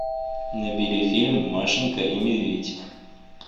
набери фильм машенька и медведь